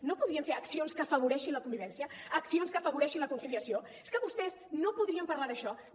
no podrien fer accions que afavoreixin la convivència accions que afavoreixin la conciliació és que vostès no podrien parlar d’això no